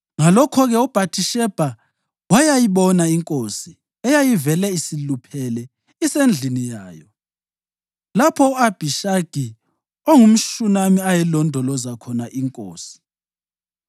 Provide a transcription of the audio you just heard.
Ngalokho-ke uBhathishebha wayayibona inkosi eyayivele isiluphele isendlini yayo, lapho u-Abhishagi ongumShunami ayelondoloza khona inkosi.